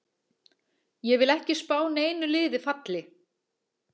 Ég vil ekki spá neinu liði falli.